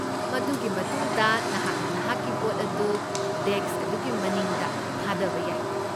ꯃꯗꯨꯒꯤ ꯃꯇꯨꯡꯗ, ꯅꯍꯥꯛꯅ ꯅꯍꯥꯛꯀꯤ ꯚꯣꯠ ꯑꯗꯨ ꯗꯦꯛꯁ ꯑꯗꯨꯒꯤ ꯃꯅꯤꯡꯗ ꯊꯥꯗꯕ ꯌꯥꯏ ꯫